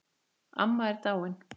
Amma er dáin.